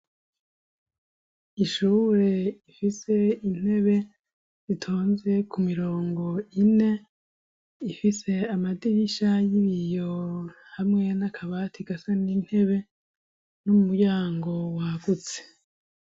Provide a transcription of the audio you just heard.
Ishure rifise intebe zitonze ku mirongo ine. Ifise amadirisha y'ibiyo hamwe n'akabati gasa n'intebe, n'umuryango wagutse.